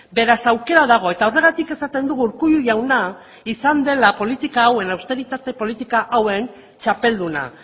beraz aukera dago eta horregatik esaten dugu urkullu jauna izan dela politika hauen austeritate politika hauen txapelduna